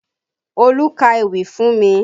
Olú ka ewì fún mi